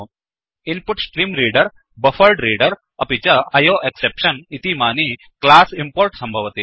InputStreamReaderइन्पुट् stream reader buffered reader buffered reader अपि च IO exception I O exception इतीमानि क्लासस् इम्पोर्ट् सम्भवति